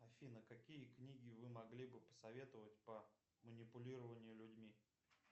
афина какие книги вы могли бы посоветовать по манипулированию людьми